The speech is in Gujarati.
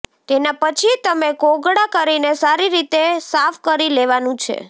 તેના પછી તમે કોગળા કરીને સારી રીતે સાફ કરી લેવાનું છે